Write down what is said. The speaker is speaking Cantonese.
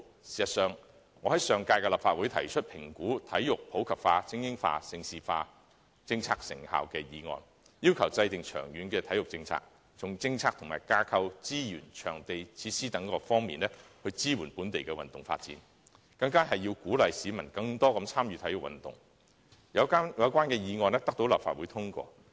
事實上，我在上屆立法會提出有關"評估'體育普及化、精英化、盛事化'政策的成效"的議案，要求制訂長遠體育政策，從政策及架構、資源、場地和設施等各方面支援本地運動發展，並鼓勵市民更多參與體育運動，有關議案獲得立法會通過。